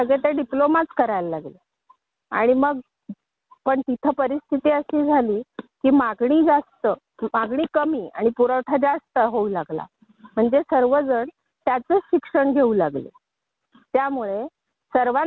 अग आपल्या इथं कसं होतं सर्वजण तेच शिक्षण घेऊ लागतात म्हणजे केल्यानंतर की म्हणजे आयटीआय केल्यानंतर इंजीनियरिंग ते फुटलं नंतर डिप्लोमा आले मग सगळे डिप्लोमाचा करू लागले